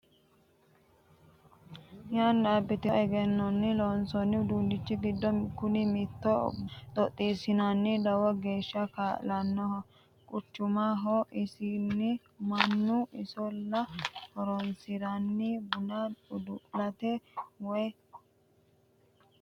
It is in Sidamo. Yanna abbitino egennonni loonsonni uduunchi giddo kuni mittoho buna xoxisirate lowo geeshsha kaa'lano quchumaho isinni mannu isolla horonsirano buna udu'late woyi bukkesate.